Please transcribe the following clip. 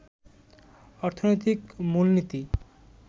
অর্থনৈতিক মূলনীতি